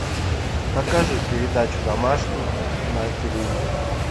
покажи передачу домашний на телевизоре